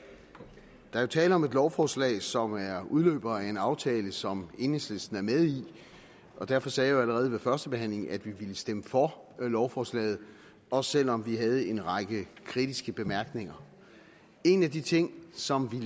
der er jo tale om et lovforslag som er udløber af en aftale som enhedslisten er med i derfor sagde jeg jo allerede ved førstebehandlingen at vi ville stemme for lovforslaget også selv om vi havde en række kritiske bemærkninger en af de ting som